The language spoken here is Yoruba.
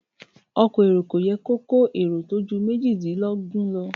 Ọkọ̀ èrò kò yẹ kó kó èrò tó ju méjìdínlógún lọ.